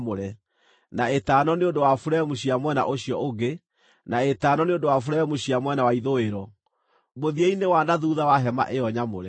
na ĩtano nĩ ũndũ wa buremu cia mwena ũcio ũngĩ, na ĩtano nĩ ũndũ wa buremu cia mwena wa ithũĩro, mũthia-inĩ wa na thuutha wa hema ĩyo nyamũre.